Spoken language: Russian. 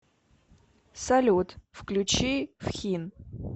салют включи фхин